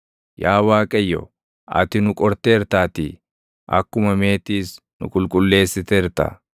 Yaa Waaqayyo, ati nu qorteertaatii; akkuma meetiis nu qulqulleessiteerta.